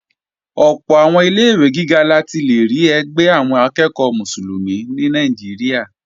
Ọ̀pọ̀ àwọn ilé-ìwé gíga la ti lè rí ẹgbẹ́ àwọn akẹ́ẹ̀kọ́ Mùsùlùmí ní Nàìjíríà